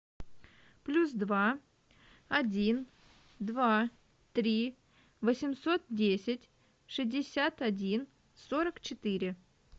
плюс два один два три восемьсот десять шестьдесят один сорок четыре